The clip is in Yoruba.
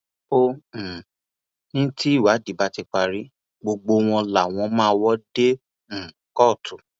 ó um ní tìwádìí bá ti parí gbogbo wọn làwọn máa wò dé um kóòtù